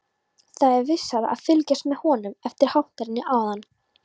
Það er vissara að fylgjast með honum eftir hátternið áðan.